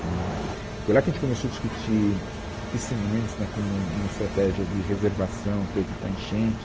Foi lá que a gente começou a discutir piscinões né como uma estratégia de reservação para evitar enchente.